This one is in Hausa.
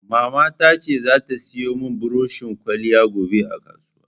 Mamata ta ce za ta siyo mun buroshin ƙwaliya gobe a kasuwa.